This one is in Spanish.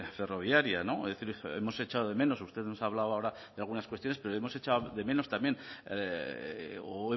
ferroviaria es decir hemos echado de menos usted nos ha hablado ahora de algunas cuestiones pero hemos echado de menos también o